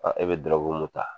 e bi mun ta